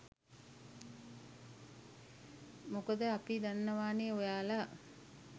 මොකද අපි දන්නවනේ ඔයාලා